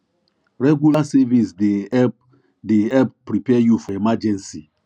regular savings dey help dey help prepare you for emergency